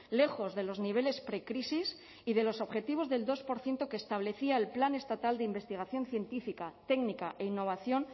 lejos de los niveles precrisis y de los objetivos del dos por ciento que establecía el plan estatal de investigación científica técnica e innovación